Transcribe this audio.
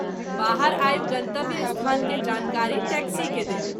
बाहर आबि गन्तव्य स्थान के जानकारी टैक्सी के देल।